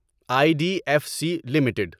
I D F C limited